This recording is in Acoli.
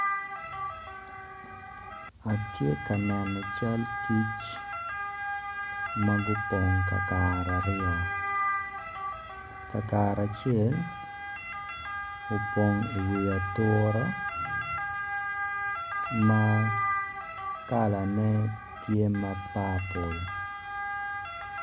Atye ka neno cal kic ma gupong kakare aryo kakare acel oopong iwi atura ma kalane tye ma papul.